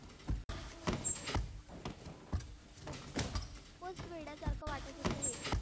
खुपच वेड्यासारख वाटत होतं हे.